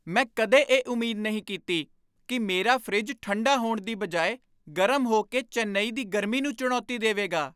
ਮੈਂ ਕਦੇ ਇਹ ਉਮੀਦ ਨਹੀਂ ਕੀਤੀ ਕਿ ਮੇਰਾ ਫਰਿੱਜ ਠੰਢਾ ਹੋਣ ਦੀ ਬਜਾਏ ਗਰਮ ਹੋ ਕੇ ਚੇਨਈ ਦੀ ਗਰਮੀ ਨੂੰ ਚੁਣੌਤੀ ਦੇਵੇਗਾ!